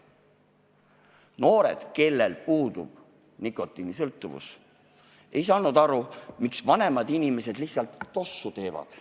Noored, kes ei olnud nikotiinist sõltuvuses, ei saanud aru, miks vanemad inimesed lihtsalt tossu teevad.